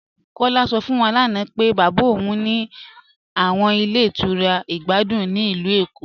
Kọla sọ fún wà lána pé baba ọun ní àwọn ilẹ̀ ìtura ìgbàdùn ní ilù Ékó.